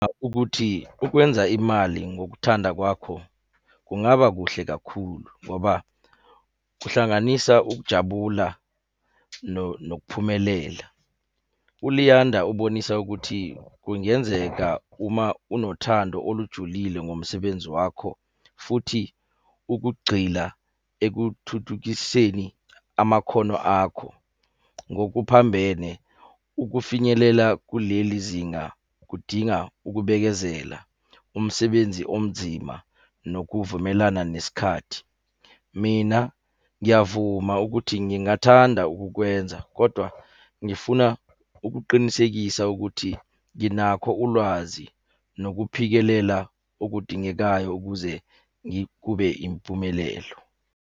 Ukuthi ukwenza imali ngokuthanda kwakho kungaba kuhle kakhulu, ngoba kuhlanganisa ukujabula nokuphumelela. ULiyanda ubonisa ukuthi, kungenzeka uma unothando olujulile ngomsebenzi wakho, futhi ukugxila ekuthuthukiseni amakhono akho ngokuphambene. Ukufinyelela kuleli zinga kudinga ukubekezela umsebenzi onzima nokuvumelana nesikhathi. Mina ngiyavuma ukuthi ngingathanda ukukwenza, kodwa ngifuna ukuqinisekisa ukuthi nginakho ulwazi nokuphikelela okudingekayo ukuze kube impumelelo.